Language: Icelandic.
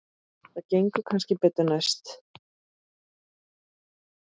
Það gengur kannski betur næst.